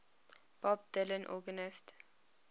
bob dylan organist